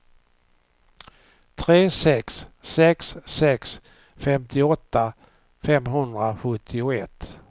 tre sex sex sex femtioåtta femhundrasjuttioett